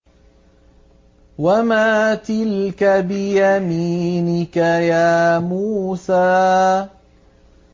وَمَا تِلْكَ بِيَمِينِكَ يَا مُوسَىٰ